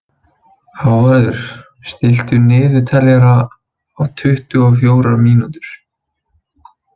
Hávarður, stilltu niðurteljara á tuttugu og fjórar mínútur.